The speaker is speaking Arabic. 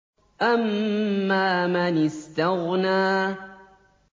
أَمَّا مَنِ اسْتَغْنَىٰ